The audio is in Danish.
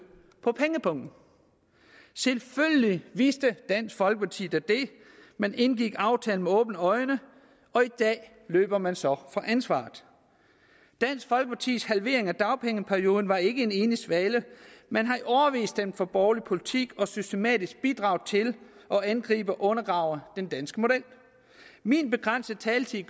på pengepungen selvfølgelig vidste dansk folkeparti det man indgik aftalen med åbne øjne og i dag løber man så fra ansvaret dansk folkepartis halvering af dagpengeperioden var ikke en enlig svale man har i årevis stemt for borgerlig politik og systematisk bidraget til at angribe og undergrave den danske model min begrænsede taletid